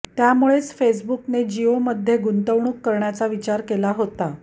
त्यामुळेच फेसबुकने जिओमध्ये गुंतवणूक करण्याचा विचार केला होता